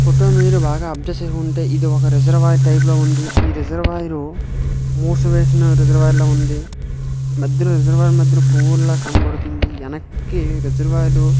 photo ను మీరు బాగా అబ్సర్వ్ చేసి ఉంటే ఇది ఒక రిజర్వయెరు టైపు లో వుంది ఈ రిజర్ వయెరు మూసివేసిన రిజర్వయెరు ల వుంది మధ్యలో రిజర్వయెరు మధ్యలో పువ్వులుల కనపడుతుంది వెనక్కి రిజర్వయెరు --